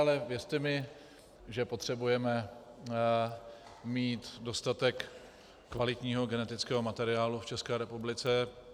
Ale věřte mi, že potřebujeme mít dostatek kvalitního genetického materiálu v České republice.